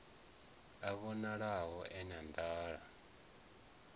a vhonalaho e na nḓala